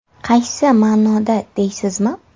Qaysi ma’noda deysizmi?